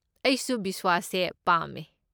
ꯑꯩꯁꯨ ꯕꯤꯁꯋꯥꯁꯦ ꯄꯥꯝꯃꯦ꯫